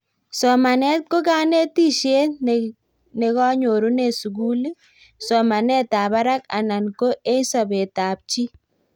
somanet ko kanetishet negonyorune suguli, somanetab barak anan ko eng sobetab chii